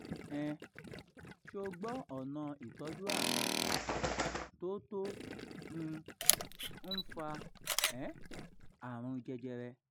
um so gbo ona itọ́jú àrùn ọkàn tó tó um ń fa um àrùn jẹjẹrẹ